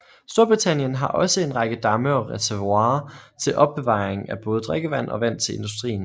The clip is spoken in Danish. Storbritannien har også en række damme og reservoirer til opbevaring af både drikkevand og vand til industrien